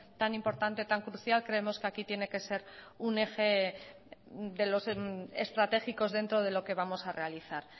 tan importante tan crucial creemos que aquí tiene que ser un eje de los estratégicos dentro de lo que vamos a realizar